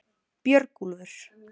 Björgúlfur